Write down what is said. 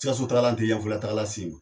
Sikasotagala tɛ yanfoyilatagala se .